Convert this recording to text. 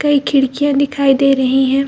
कई खिड़कियां दिखाई दे रहीं हैं।